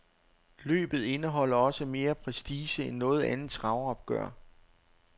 Løbet indeholder også mere prestige end noget andet travopgør.